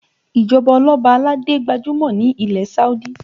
Ìjọba oloba aládé gbajúmọ̀ ní ilẹ̀ Saudi